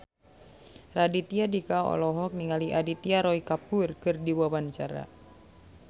Raditya Dika olohok ningali Aditya Roy Kapoor keur diwawancara